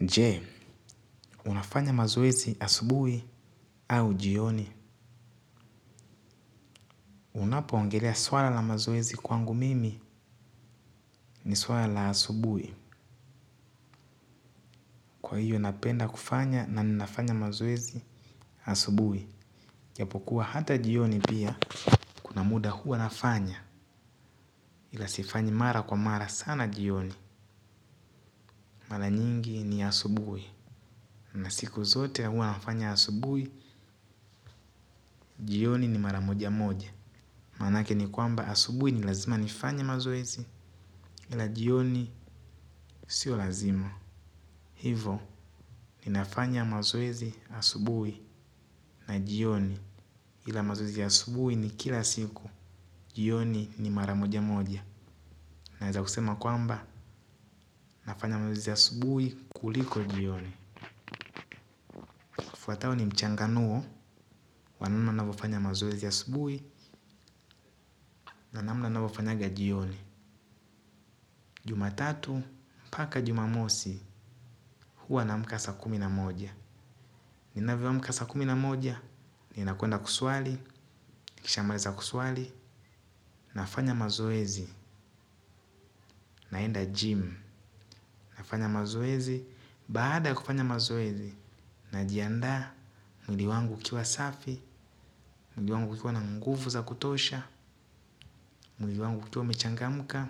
Je, unafanya mazoezi asubuhi au jioni. Unapo ongelea swala la mazoezi kwangu mimi ni swala la asubuhi. Kwa hiyo napenda kufanya na ninafanya mazoezi asubuhi. Japokuwa hata jioni pia kuna muda huwa nafanya ila sifanyi mara kwa mara sana jioni. Mara nyingi ni asubuhi. Na siku zote huwa nafanya asubuhi jioni ni mara moja moja. Maanake ni kwamba asubuhi ni lazima nifanya mazoezi ila jioni sio lazima. Hivo ninafanya mazoezi asubuhi na jioni ila mazoezi asubuhi ni kila siku jioni ni mara moja moja. Naeza kusema kwamba nafanya mazoezi asubuhi kuliko jioni. Fuatao ni mchanganuo wa namna nafanya mazoezi asubuhi na namna navyofanyanga jioni. Juma tatu paka jumamosi huwa na amka saa kumi na moja. Ninavyo amka saa kumi na moja ninakwenda kuswali nikishamaliza kuswali nafanya mazoezi, naenda gym, nafanya mazoezi, baada ya kufanya mazoezi, najiandaa mwili wangu ukiwa safi, mwili wangu ukiwa na nguvu za kutosha, mwili wangu ukiwa umechangamka,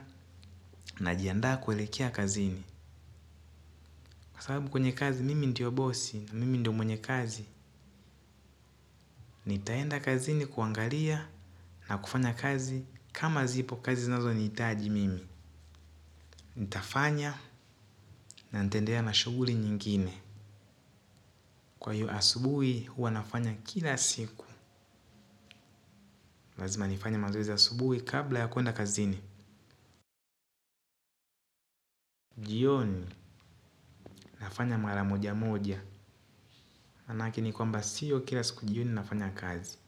najiandaa kuelekea kazini. Kwa sababu kwenye kazi mimi ndio bosi na mimi ndiyo mwenye kazi, nitaenda kazini kuangalia na kufanya kazi kama zipo kazi zinazo nihitaji mimi. Nitafanya na ntaendealea na shughuli nyingine. Kwa hiyo asubuhi huwa nafanya kila siku. Lazima nifanya mazoezi asubuhi kabla ya kuenda kazini. Jioni nafanya mara moja moja. Maanake ni kwamba sio kila siku jioni nafanya kazi.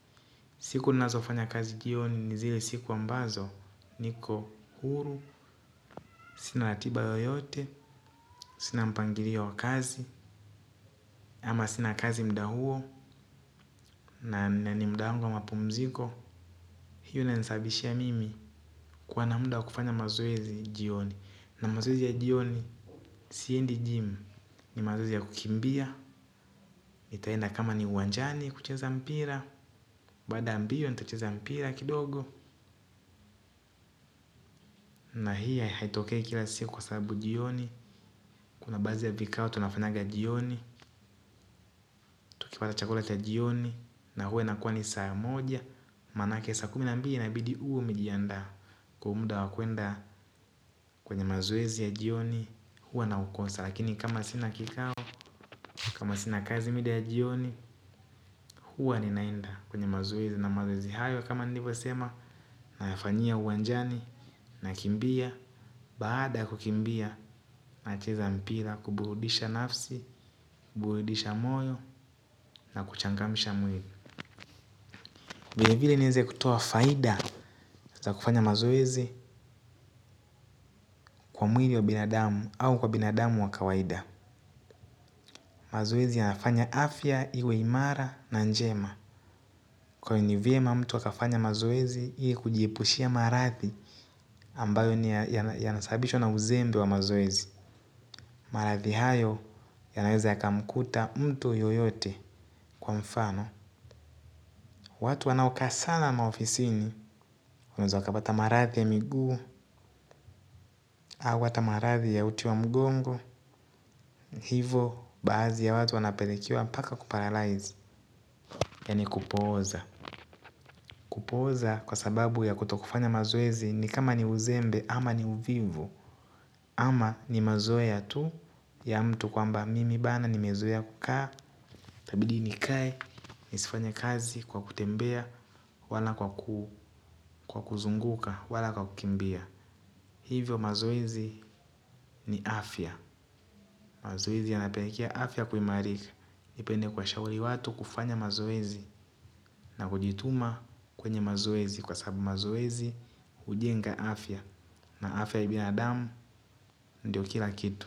Siku ninazofanya kazi jioni ni zile siku ambazo niko huru sina ratiba yoyote sina mpangilio wa kazi ama sina kazi muda huo na ni muda wangu wa mapumziko, hiyo ina nisababishia mimi kuwa na muda wa kufanya mazoezi jioni. Na mazoezi ya jioni siendi jim, ni mazoezi ya kukimbia nitaenda kama ni uwanjani kucheza mpira. Baada ya mmbio nitacheza mpira kidogo. Na hii haitokei kila siku kwa sababu jioni kuna baadhi ya vikao tunafanyanga jioni tukipata chakula cha jioni na huwa inakuwa ni saa moja manake saa kumi na mbili ina bidi uwe umejiandaa kwa muda wa kuenda kwenye mazoezi ya jioni. Huwa na ukosa. Lakini kama sina kikao kama sina kazi mida ya jioni. Huwa ninaenda kwenye mazoezi na mazoezi hayo kama nilivyo sema na yafanyia uwanjani na kimbia. Baada ya kukimbia nacheza mpira kuburudisha nafsi, kuburudisha moyo na kuchangamsha mwili vilevile niweze kutoa faida za kufanya mazoezi kwa mwili wa binadamu au kwa binadamu wa kawaida. Mazoezi yanafanya afya iwe imara na njema kwenye vyema mtu akafanya mazoezi ili kujiepushia maradhi ambayo ni yanasababishwa na uzembe wa mazoezi. Maradhi hayo yanaweza yakamkuta mtu yoyote kwa mfano. Watu wanaokazana maofisini wanaweza pata maradhi ya miguu au hata maradhi ya uti wa mgongo hivo baadhi ya watu wanapelemwa hadi kuparalaiz yaani kupooza kupooza kwa sababu ya kutofanya mazoezi ni kama ni uzembe ama ni uvivu kwa kuzunguka, wala kwa kukimbia. Hivyo mazoezi ni afya. Mazoezi yanapelekea afya kuimarika ipende kuwa shauri watu kufanya mazoezi na kujituma kwenye mazoezi kwa sababu mazoezi hujenga afya na afya ya binadamu ndiyo kila kitu.